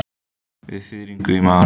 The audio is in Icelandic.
Með fiðring í maganum.